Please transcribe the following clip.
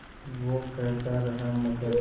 वो कहता रहा मगर